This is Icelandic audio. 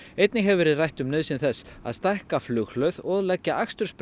einnig hefur verið rætt um nauðsyn þess að stækka flughlöð og leggja